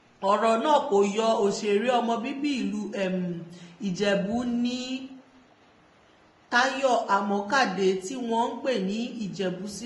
ọ̀rọ̀ náà kò yọ òṣèré ọmọ bíbí ìlú ìjẹ̀bù nni tayo àmọ́kàdé tí wọ́n ń pè ní ìjẹ̀bù sílẹ̀